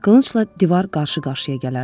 Qılıncla divar qarşı-qarşıya gələrdi.